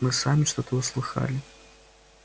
мы сами что-то услыхали